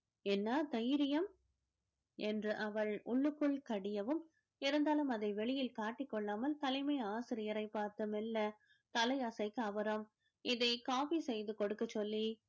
என்ன தைரியம் என்று அவள் உள்ளுக்குள் கடியவும் இருந்தாலும் அதை வெளியில் காட்டிக் கொள்ளாமல் தலைமை ஆசிரியரை பார்த்து மெல்ல தலை அசைக்க அவரும் இதை copy செய்து கொடுக்கச் சொல்லி